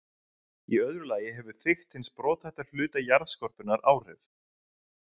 Í öðru lagi hefur þykkt hins brothætta hluta jarðskorpunnar áhrif.